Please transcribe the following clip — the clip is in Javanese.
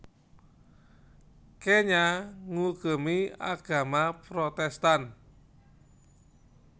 Kenya ngugemi agama Protestan